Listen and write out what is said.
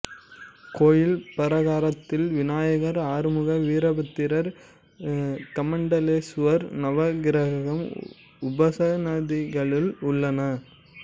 கோயில் பரகாரத்தில் விநாயகர் ஆறுமுகர் வீரபத்திரர் கமண்டலேசுவரர் நவக்கிரகம் உபசன்னதிகளும் உள்ளன